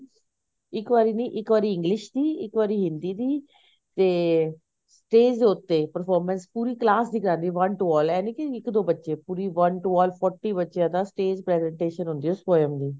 ਇੱਕ ਵਾਰੀ ਨੀ ਇੱਕ ਵਾਰੀ English ਦੀ ਇੱਕ ਵਾਰੀ ਹਿੰਦੀ ਦੀ ਤੇ stage ਦੇ ਉੱਤੇ performance ਪੂਰੀ class ਦੀ ਕਰਨੀ one two all ਐ ਨੀ ਕੀ ਇੱਕ ਦੋ ਬੱਚੇ ਪੂਰੇ one two all forty ਬੱਚਿਆ ਦਾ stage presentation ਹੁੰਦੀ ਹੈ poem ਦੀ